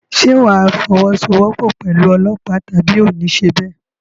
Ṣé wà á fọwọ́sowọ́pọ̀ pẹ̀lú ọlọ́pàá tàbí oò ní ṣe bẹ́ẹ̀?